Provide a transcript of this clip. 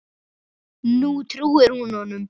Nú trúir hún honum.